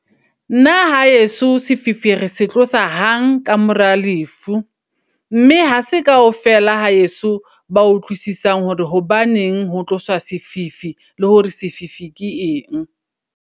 Nna haeso sefifi re se tlosa hang ka mora lefu. Mme ha se kaofela haeso ba utlwisisang hore hobaneng ho tloswa sefifi, le hore sefifi ke eng.